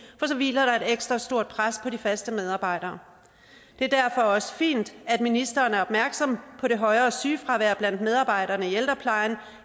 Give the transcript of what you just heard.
for så hviler der ekstra stort pres på de faste medarbejdere det er derfor også fint at ministeren er opmærksom på det højere sygefravær der er blandt medarbejderne i ældreplejen